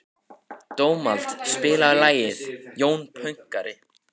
Dómald, spilaðu lagið „Jón Pönkari“.